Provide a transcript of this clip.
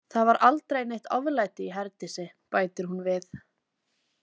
Það var aldrei neitt oflæti í Herdísi, bætir hún við.